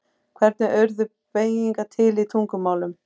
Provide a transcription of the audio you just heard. Hvernig urðu beygingar til í tungumálum?